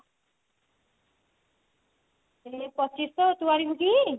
ଏଇ ପଚିଶିଶହ ତୁ ଆଣିବୁ କି